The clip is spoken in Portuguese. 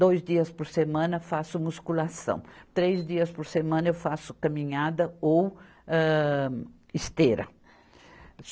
dois dias por semana faço musculação, três dias por semana eu faço caminhada ou âh, esteira.